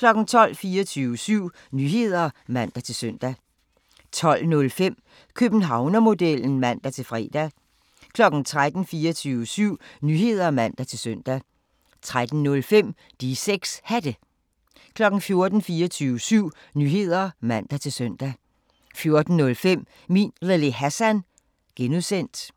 12:00: 24syv Nyheder (man-søn) 12:05: Københavnermodellen (man-fre) 13:00: 24syv Nyheder (man-søn) 13:05: De 6 Hatte 14:00: 24syv Nyheder (man-søn) 14:05: Min Lille Hassan (G)